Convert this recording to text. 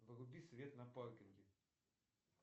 вруби свет на паркинге